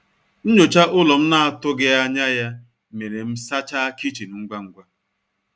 Nnyocha ụlọ m na atụghi anya ya mere m sacha kichin ngwa ngwa